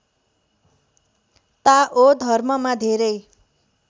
ताओ धर्ममा धेरै